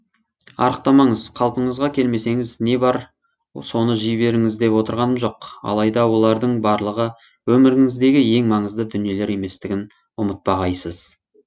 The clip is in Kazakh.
арықтамаңыз қалпыңызға келемсеңіз не бар соны жей беріңіз деп отырғаным жоқ алайда олардың барлығы өміріңіздегі ең маңызды дүниелер еместігін ұмытпағайсыз